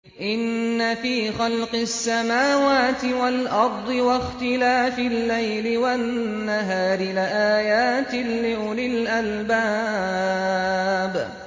إِنَّ فِي خَلْقِ السَّمَاوَاتِ وَالْأَرْضِ وَاخْتِلَافِ اللَّيْلِ وَالنَّهَارِ لَآيَاتٍ لِّأُولِي الْأَلْبَابِ